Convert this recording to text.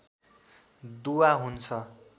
दुआ हुन्छ